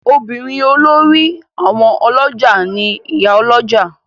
Obìnrin olórí àwọn olójà ni Ìyá Olójà.